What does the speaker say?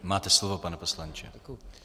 Máte slovo, pane poslanče.